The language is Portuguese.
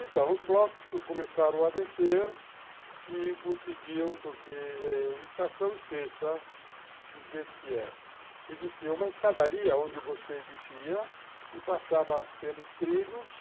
Então, os blocos começaram a descer e conseguiam, porque eh estação esqueça do jeito que é. Existia uma escadaria onde você descia e passava pelos trilhos.